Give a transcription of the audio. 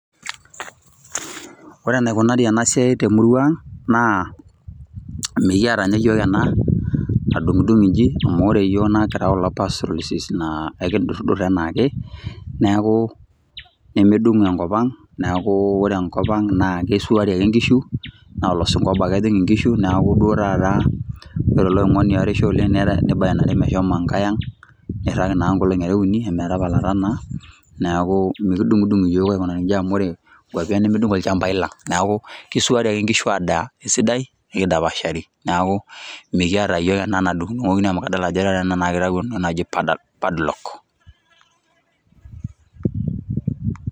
Ore enaikunari enasiai temurua aang naa mikiata nye yiok ena nadungdungu nji amu akira kulo pastorist naa enkidurdur anaake neaku medungo enkop ang neaku ore enkop ang na keisuari ake nkishu naa olosingo obo ake ejing nkishu neaku duo taata ore eleoingoni oarisho oleng neibainari meahomo enkae enga, neirag inaang ngolongi are ambaka uni ometapalata naa neaku mekidungdung yiok aikunaki nji amu ore nkwapi aang nemedungo olchambai lang neaku keisuari ake nkishu adaa esidai nidapashari neaku mikiata yiok ena nadungdungoki amu adol ena ajo kitau entoki naji padlock.